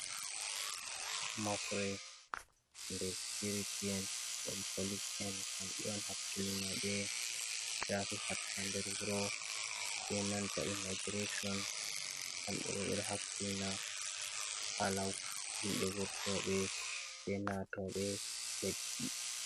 Mobre je sikuriti en dom polis en kambe on hakkilina be chafi harka nder wuro be nanta immigration hakkilina hala himbe wurto be be nato be leddi.